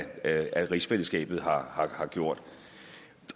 af rigsfællesskabet har gjort